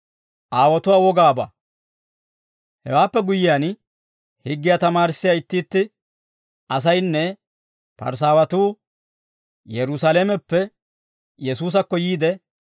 Hewaappe guyyiyaan, higgiyaa tamaarissiyaa itti itti asaynne Parisaawatuu Yerusaalameppe Yesuusakko yiide,